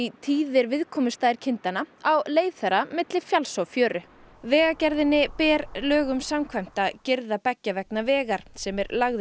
tíðir viðkomustaðir kindanna á leið þeirra milli fjalls og fjöru vegagerðinni ber lögum samkvæmt að girða beggja vegna vegar sem er lagður